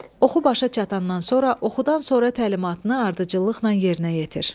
Oxu başa çatandan sonra oxudan sonra təlimatını ardıcıllıqla yerinə yetir.